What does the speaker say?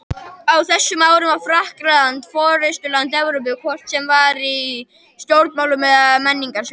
Á þessum árum var Frakkland forystuland Evrópu, hvort sem var í stjórnmálum eða á menningarsviðinu.